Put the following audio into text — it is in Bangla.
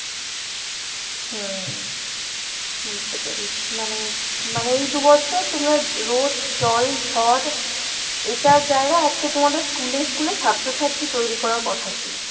হুম বুঝতে পেরেছি, মানে মানে এই দুবছর তোমরা রোদ জল ঝড় এটার জায়গায় আজকে তোমাদের school এ school এ ছাত্রছাত্রী তৈরী করার কথা ছিল।